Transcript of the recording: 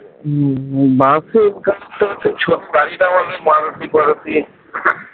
হম বাসের কাজ টা তো